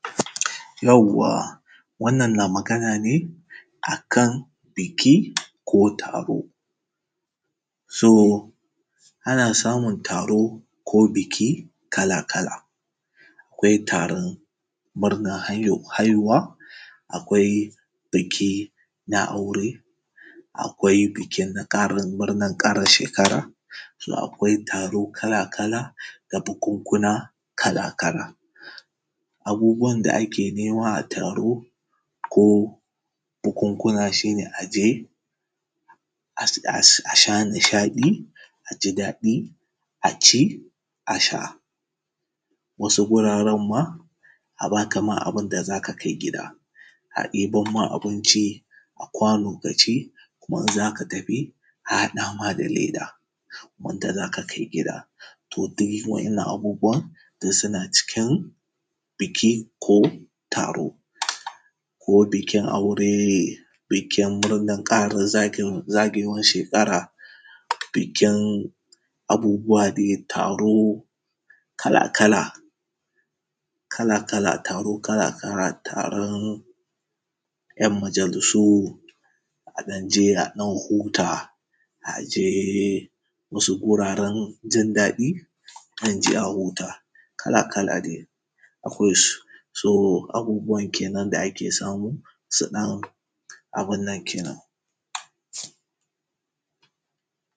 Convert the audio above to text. Yawwa wannan na magana ne a kan biki ko taro. So ana samun taro ko biki kala-kala, akwai taron murnan haihuwa, akwai biki na aure, akwai bikin ƙarin murnan ƙara shekara. So akwai taro kala-kala na bukukuna kala-kala. Abubuwan da ake nema a taro ko bukukuna shi ne a je, a sha a sha nishaɗi, a ji daɗi a ci a sha. Wasu wuraren ma a baka ma abin da za ka kai gida, a ebo ma abinci a kwano ka ci kuma idan za ka tafi a haɗa ma da leda wanda za ka kai gida. To duk wannan abubuwan suna cikin biki ko taro. Ko bikin aure, bikin murnan ƙarin zaga zagayowan shekara, bikin abubuwa dai taro kala-kala, Kala-kala taro kala-kala, taron ‘'yan majalisu, a ɗan je a ɗan huta a je wasu wurwren jin daɗi, a kan je a huta kala-kala dai akwai su. So abun kenan da ake samu. Siɗan abun nankenan.